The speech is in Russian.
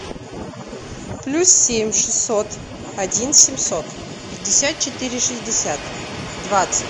плюс семь шестьсот один семьсот пятьдесят четыре шестьдесят двадцать